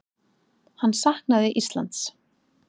Hann saknaði Íslands.